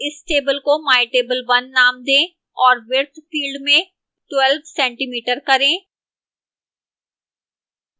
इस table को mytable1 name दें और width field में 12cm करें